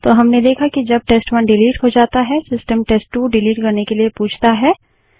तो हमने देखा कि जब टेस्ट1 डिलीट हो जाता है सिस्टम टेस्ट2 डिलीट करने से पहले पूछता है